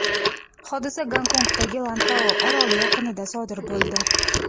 Hodisa Gongkongdagi Lantau oroli yaqinida sodir bo‘ldi.